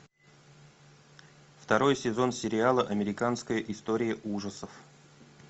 второй сезон сериала американская история ужасов